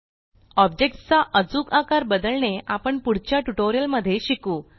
objects चा अचूक आकार बदलणे आपण पुढच्या ट्यूटोरियल मध्ये शिकू